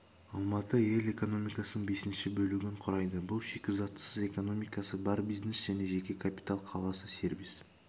алматы ел экономикасының бесінші бөлігін құрайды бұл шикізатсыз экономикасы бар бизнес пен жеке капитал қаласы сервис